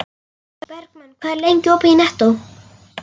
Bergmann, hvað er lengi opið í Nettó?